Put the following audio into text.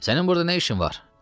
Sənin burada nə işin var?